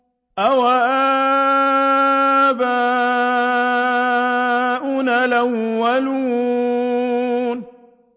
أَوَآبَاؤُنَا الْأَوَّلُونَ